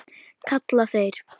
kalla þeir.